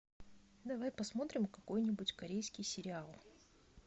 давай посмотрим какой нибудь корейский сериал